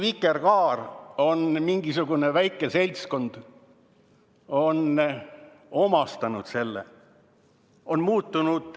Vikerkaare on mingisugune väike seltskond omastanud, see on muutunud.